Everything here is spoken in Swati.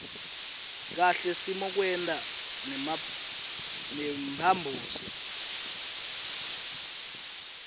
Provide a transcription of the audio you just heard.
kahle simokwenta nemphambosi